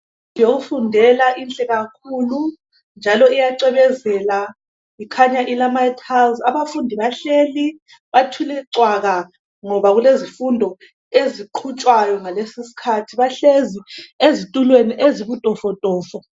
Indlu yokufundela inhle kakhulu njalo iyacwebezela. Ikhanya ilamatayiluzi. Abafundi bahleli, bathule cwaka ngoba kulezifundo eziqhutshwayo ngalesi isikhathi. Bahlezi ezitulweni ezibutofotofo.